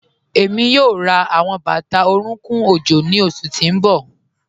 Ẹmi yoo rá awọn bata orúnkùn ojó ni oṣù tí n bọ.